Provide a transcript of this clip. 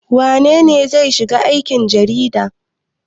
Wane ne zai shiga aikin jarida?